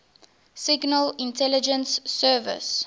signal intelligence service